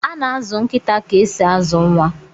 Ana azụ nkịta ka esi azụ nwa.